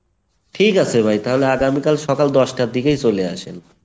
ঠিক আছে ভাই তাহলে আগামীকাল সকাল দশটার দিকেই চলে আসেন।